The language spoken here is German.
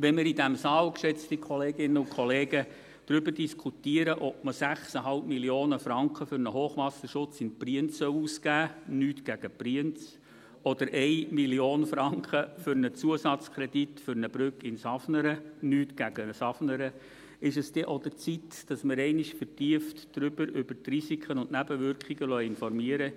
Wenn wir in diesem Saal, geschätzte Kolleginnen und Kollegen, darüber diskutieren, ob man 6,5 Mio. Franken für einen Hochwasserschutz in Brienz ausgeben soll – nichts gegen Brienz – oder 1 Mio. Franken für einen Zusatzkredit für eine Brücke in Safnern – nichts gegen Safnern –, ist es auch an der Zeit, dass wir uns einmal vertieft über die Risiken und Nebenwirkungen in einem Bereich informieren lassen,